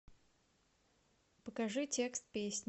покажи текст песни